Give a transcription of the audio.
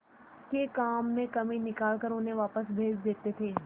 के काम में कमी निकाल कर उन्हें वापस भेज देते थे